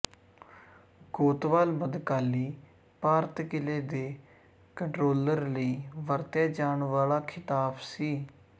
ਕੋਤਵਾਲ ਮਧਕਾਲੀ ਭਾਰਤ ਕਿਲੇ ਦੇ ਕੰਟਰੋਲਰ ਲਈ ਵਰਤਿਆ ਜਾਣ ਵਾਲਾ ਖਿਤਾਬ ਸੀ